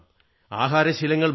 ആഹാരശീലങ്ങൾ മാറ്റണം